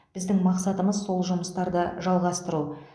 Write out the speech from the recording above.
біздің мақсатымыз сол жұмыстарды жалғастыру